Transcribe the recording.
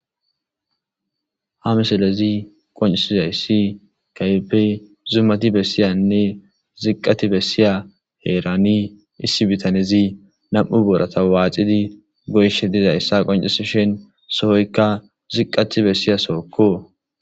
Ha missiley qonccisizaysi zuumati bessiza sohon issi bittanezi nam'u booratta waaxidi goyishshe dizayssa qonccisess sohoyikka ziqqati bessiza sohokko.